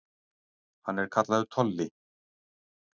Hann er kallaður Tolli.